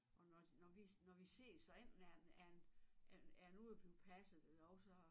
Og når når vi når vi ses så enten er han er han er er den ude og blive passet eller også så